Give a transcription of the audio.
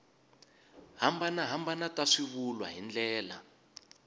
hambanahambana ta swivulwa hi ndlela